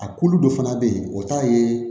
A kulu dɔ fana bɛ yen o t'a ye